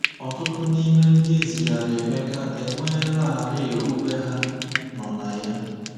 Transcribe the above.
Ọtụtụ n’ime ndị e zigara Emeka enweelarị okpukpe ha nọ na ya.